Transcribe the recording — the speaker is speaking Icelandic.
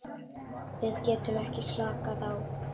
Við getum ekki slakað á.